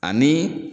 Ani